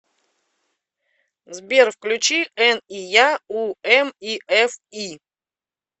сбер включи эн и я у эм и эф и